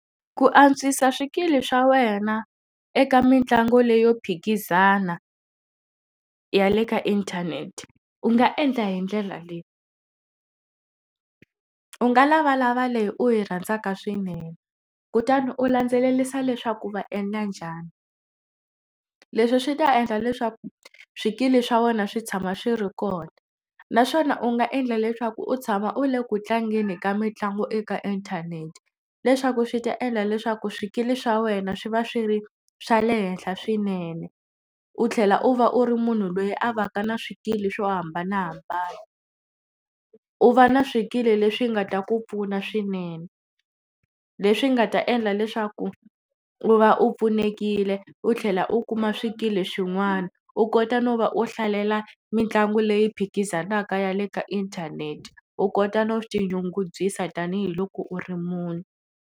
Ku antswisa swikili swa wena eka mitlangu leyo phikizana ya le ka inthanete u nga endla hi ndlela leyi. U nga lavalava leyi u yi rhandzaka swinene kutani u landzelerisa leswaku va endla njhani. leswi swi ta endla leswaku swikili swa wena swi tshama swi ri kona naswona u nga endla leswaku u tshama u le ku tlangeni ka mitlangu eka inthanete leswaku swi ta endla leswaku swikili swa wena swi va swi ri swa le henhla swinene u tlhela u va u ri munhu loyi a va ka na swikili swo hambanahambana. U va na swikili leswi nga ta ku pfuna swinene leswi nga ta endla leswaku u va u pfunekile u tlhela u kuma swikili swin'wana u kota no va u hlalela mitlangu leyi phikizanaka ya le ka inthanete u kota no tinyungubyisa tanihiloko u ri munhu.